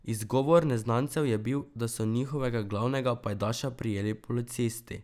Izgovor neznancev je bil, da so njihovega glavnega pajdaša prijeli policisti.